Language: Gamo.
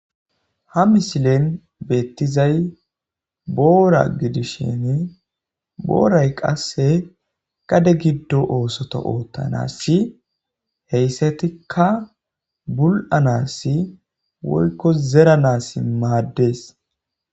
Ha misilen betizay boora gidishin booray qasr gade gido oosota othanasi hesatika bul'anasi woyko zeranasi maades